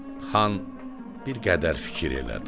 Xan bir qədər fikir elədi.